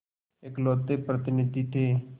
इकलौते प्रतिनिधि थे